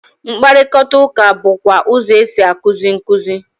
Mkparịkọtaụka bụkwa ụzọ e si a kuzi nkuzi.